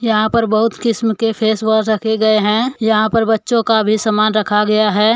यहां पर बहुत किस्म के फेस वॉश रखे गए हैं यहां पर बच्चों का भी समान रखा गया है।